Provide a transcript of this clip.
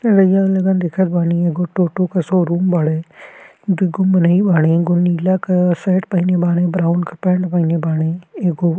देखत बानीएगो टोटो के शोरूम बाड़े दुगो मनही बाड़ेएगो नीला का शर्ट पहिने बाड़ेब्राउन के पेंट पहिने बाड़ेएगो --